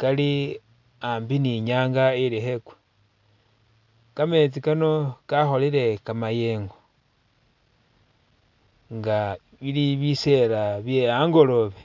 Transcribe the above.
kali a'ambi ni nyanga ili khekwa kameetsi Kano kakholele kamayengo, nga bili bisela bye'angoloobe